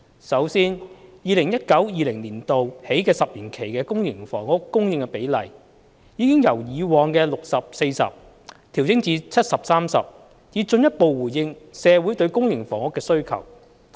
首先 ，2019-2020 年度起10年期的公私營房屋供應比例，已由以往的 60：40 調整至 70：30， 以進一步回應社會對公營房屋的需求。